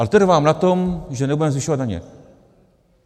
Ale trvám na tom, že nebudeme zvyšovat daně.